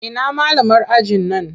Ina malamar ajin nan?